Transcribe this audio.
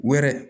Wɛrɛ